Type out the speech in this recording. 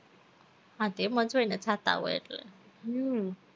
હા તો એમ જ હોય ને થાતાં હોય એટલે